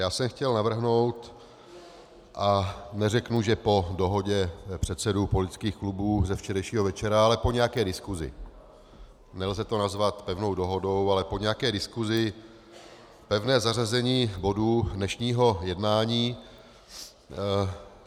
Já jsem chtěl navrhnout - a neřeknu, že po dohodě předsedů politických klubů ze včerejšího večera, ale po nějaké diskusi, nelze to nazvat pevnou dohodou, ale po nějaké diskusi, pevné zařazení bodů dnešního jednání.